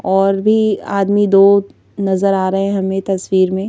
और भी आदमी दो नजर आ रहे हैं हमें तस्वीर में--